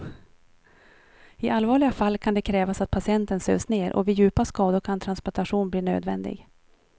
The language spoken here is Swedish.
I allvarliga fall kan det krävas att patienten sövs ner och vid djupa skador kan transplantation bli nödvändig.